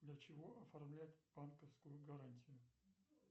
для чего оформляют банковскую гарантию